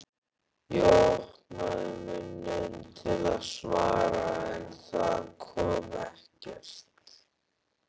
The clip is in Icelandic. Ég opnaði munninn til að svara en það kom ekkert.